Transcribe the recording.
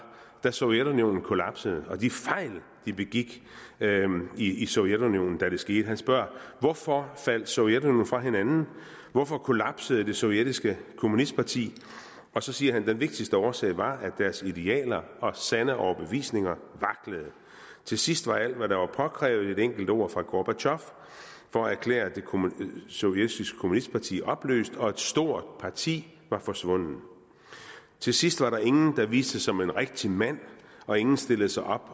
da sovjetunionen kollapsede og om de fejl de begik i sovjetunionen da det skete han spørger hvorfor faldt sovjetunionen fra hinanden hvorfor kollapsede det sovjetiske kommunistparti og så siger han den vigtigste årsag var at deres idealer og sande overbevisninger vaklede til sidst var alt hvad der var påkrævet et enkelt ord fra gorbatjov for at erklære det sovjetiske kommunistparti opløst og et stort parti var forsvundet til sidst var der ingen der viste sig som en rigtig mand og ingen stillede sig op